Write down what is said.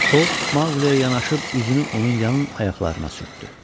O Maquliyə yanaşıb, üzünü onun yan ayaqlarına sürtdü.